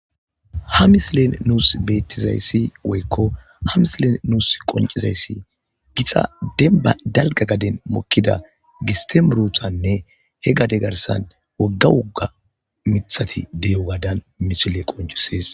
Ha mislen nuus beettizayssi woykko ha misilen nuus qoncizayssi gixa dadalga gaden mokkida gistemuruthanne he gade garsan wogga wogga mithati deyo gadan misile qoncisees